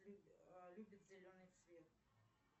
любит зеленый цвет